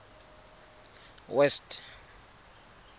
west